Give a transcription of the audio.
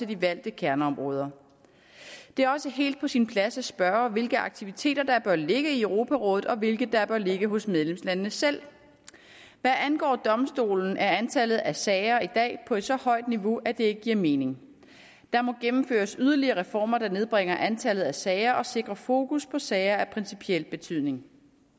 de valgte kerneområder det er også helt på sin plads at spørge hvilke aktiviteter der bør ligge i europarådet og hvilke der bør ligge hos medlemslandene selv hvad angår domstolen er antallet af sager i dag på et så højt niveau at det ikke giver mening der må gennemføres yderligere reformer der nedbringer antallet af sager og sikrer fokus på sager af principiel betydning